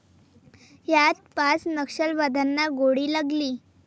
यात पाच नक्षलवाद्यांना गोळी लागली.